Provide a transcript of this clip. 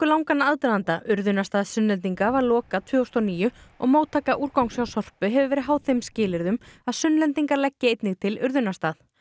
langan aðdraganda urðunarstað Sunnlendinga var lokað tvö þúsund og níu og móttaka úrgangs hjá Sorpu hefur verið háð þeim skilyrðum að Sunnlendingar leggi einnig til urðunarstað